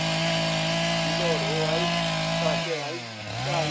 Melhorou, então? Melhorou aí.